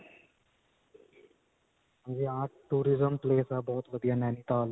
ਹਾਂਜੀ tourism place ਹੈ ਬਹੁਤ ਵਧੀਆ naintal